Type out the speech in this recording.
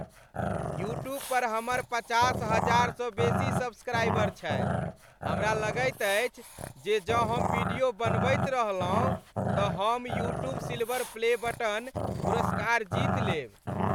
YouTube पर हमर पचास हजार सँ बेसी सब्सक्राइबर छथि। हमरा लगैत अछि जे जँ हम वीडियो बनबैत रहलहुँ तँ हम "यूट्यूब सिल्वर प्ले बटन" पुरस्कार जीत लेब।